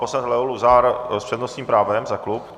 Poslanec Leo Luzar s přednostním právem za klub.